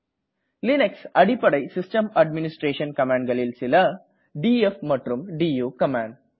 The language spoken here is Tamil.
லினக்ஸ் அடிப்படை சிஸ்டம் அட்மிணிஸ்டரேஸன் கமான்டனளில் சில டிஎஃப் மற்றும் டு கமான்ட்